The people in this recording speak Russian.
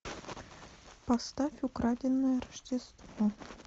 поставь украденное рождество